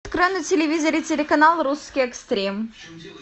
открой на телевизоре телеканал русский экстрим